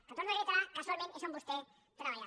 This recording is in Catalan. que ho torno a reiterar casualment és on vostè treballava